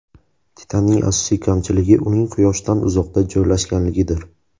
Titanning asosiy kamchiligi uning Quyoshdan uzoqda joylashganligidir.